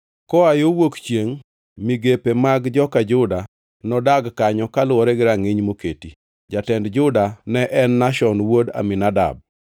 Koa yo wuok chiengʼ, migepe mag joka Juda nodag kanyo kaluwore gi rangʼiny moketi. Jatend Juda ne en Nashon wuod Aminadab.